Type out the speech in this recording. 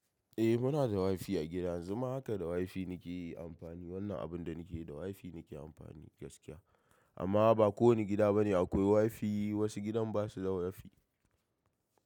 Eh muna da wifi a gida, yanzu ma haka da wifi nake amfani. Wannan abun da nake yi da wifi nake amfani gaskiya. Amma ba kowanne gida bane akwai wifi. Wasu gidan basu da wifi.